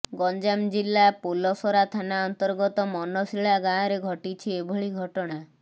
ଗଞ୍ଜାମ ଜିଲ୍ଲା ପୋଲସରା ଥାନା ଅର୍ନ୍ତଗତ ମନଶିଳା ଗାଁରେ ଘଟିଛି ଏଭଳି ଘଟଣା